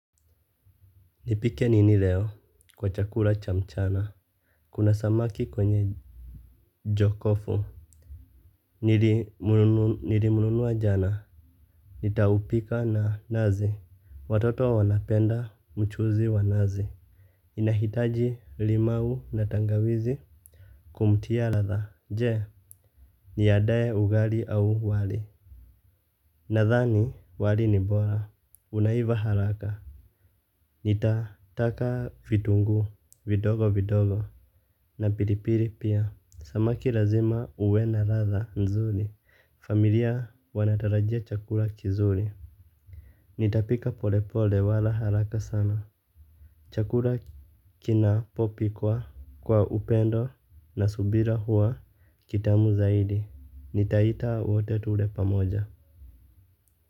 Nipike nini leo kwa chakula cha mchana? Kuna samaki kwenye jokofu. Nilimunua jana. Nitaupika na nazi. Watoto wanapenda mchuzi wa nazi. Inahitaji limau na tangawizi kumtia ladha. Je, niadae ugali au wali? Nadhani wali ni bora. Unaiva haraka. Nitataka vitunguu, vidogo vidogo. Na pilipili pia, samaki lazima uwe na ladha nzuri. Familia wanatarajia chakula kizuri. Nitapika pole pole wala haraka sana. Chakula kinapo pikwa upendo na subira huwa kitamu zaidi. Nitaita wote tule pamoja.